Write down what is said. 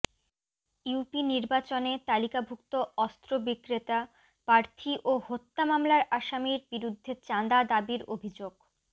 UP নির্বাচনে তালিকাভুক্ত অস্ত্র বিক্রেতা প্রার্থী ও হত্যা মামলার আসামির বিরুদ্ধে চাঁদা দাবীর অভিযোগ